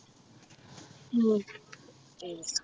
ഉം